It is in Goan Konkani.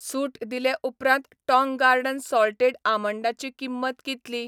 सूट दिले उपरांत टाँग गार्डन सॉल्टेड आमंडांची किंमत कितली?